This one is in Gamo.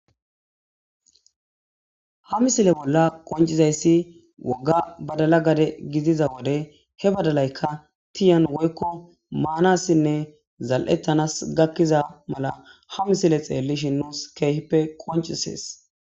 Ha misile bolla qoncizayssi woga badala gade gidiza wode he badalayka tiyan woykko maanassinne zal'ettanas gakkiza mala ha misile xeellishinnus keehippe qoncisees.